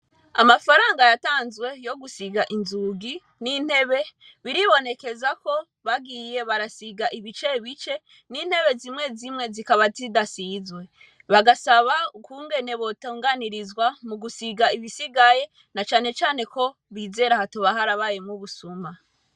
Amafaranga yatanzwe yo gusiga inzugi n'intebe, biribonekeza ko bagiye barasiga ibicebice n'intebe zimwe zimwe zikaba zidasizwe. Bagasaba ukungene botunganirizwa mugusiga ibisigaye na cane cane ko bizera hatoba harabaye ubusuma.